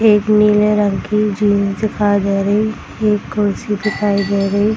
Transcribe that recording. एक नीले रंग की झील दिखाई दे रही एक कुर्सी दिखाई दे रही।